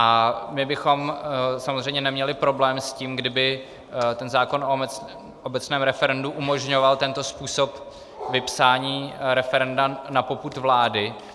A my bychom samozřejmě neměli problém s tím, kdyby ten zákon o obecném referendu umožňoval tento způsob vypsání referenda na popud vlády.